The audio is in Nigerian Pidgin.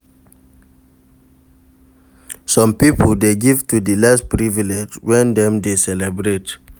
Some pipo de give to di less privileged when dem de celebrate